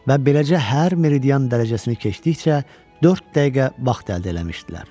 Və beləcə hər meridian dərəcəsini keçdikcə dörd dəqiqə vaxt əldə eləmişdilər.